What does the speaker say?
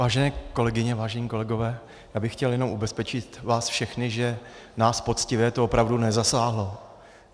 Vážené kolegyně, vážení kolegové, já bych chtěl jenom ubezpečit vás všechny, že nás poctivé to opravdu nezasáhlo.